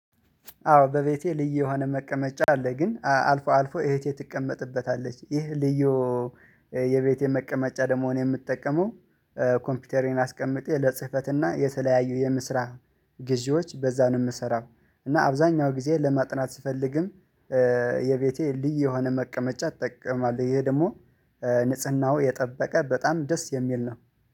አዎ በቤቴ ልዩ የሆነ መቀመጫ አለ ግን አልፎ አልፎ እህቴ ትቀመጥበታለች ይህ ልዩ የቤቴ መቀመጫ ደግሞ እኔ የምጠቀመው። ኮምፒውተሬን አስቀምጬ ለጽህፈትና የተለያዩ የምስራቅ ጊዜዎች በዛን የምሰራው እና አብዛኛው ጊዜ ለማጥናት ስፈልግም። የቤቴ ልዩ የሆነ መቀመጫ ትጠቀማለህ? ይሄ ደግሞ ንጽህናው የጠበቀ በጣም ደስ የሚል ነው